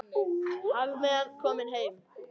Hafmeyjan komin heim